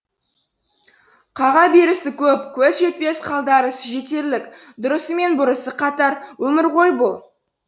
қаға берісі көп көз жетпес қалтарысы жетерлік дұрысы мен бұрысы қатар өмір ғой бұл